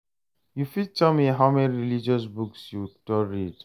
u fit tell me how many religious books you don read?